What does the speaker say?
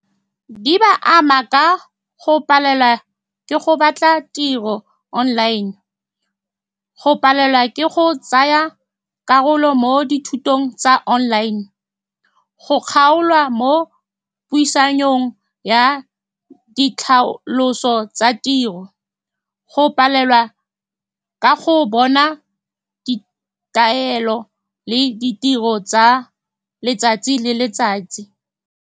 Di ba ama ka go palelwa ke go batla tiro online, go palelwa ke go tsaya karolo mo dithutong tsa online, go kgaolwa mo puisanong ya ditlhaloso tsa tiro, go palelwa ka go bona ditaelo le ditiro tsa letsatsi le letsatsi.